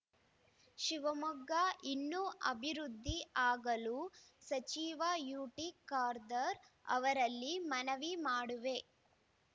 ಶಿವಮೊಗ್ಗ ಇನ್ನೂ ಅಭಿವೃದ್ಧಿ ಆಗಲು ಸಚಿವ ಯುಟಿಖಾದರ್‌ ಅವರಲ್ಲಿ ಮನವಿ ಮಾಡುವೆ